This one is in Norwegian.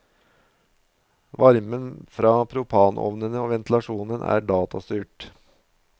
Varmen fra propanovnene og ventilasjonen er datastyrt.